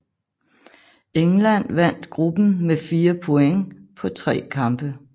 England vandt gruppen med fire point på tre kampe